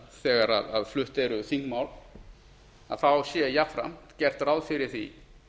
þegar flutt eru þingmál sé jafnframt gert ráð fyrir því